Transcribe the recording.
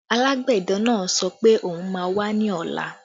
Alágbẹ̀dẹ náà sọ pé òun má wá ní ọ̀la